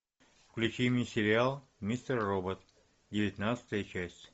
включи мне сериал мистер робот девятнадцатая часть